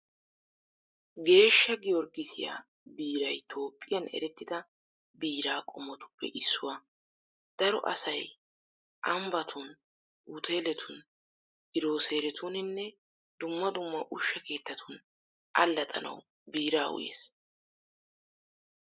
Geeshsha Giyorgissiyaa biiray Toophphiyan erettida biiraa qommotuppe issuwaa. Daro asay ambbatun, uteeletun, girooseretuninne dumma dumma ushsha keettatun allaxxanawu biiraa uyees.